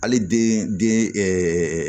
Hali den den